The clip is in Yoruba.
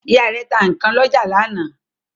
Ìyá rẹ̀ ta ikán lọ́jà lánàá.